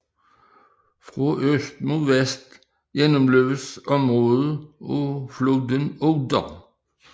Fra øst mod vest gennemløbes området af floden Oder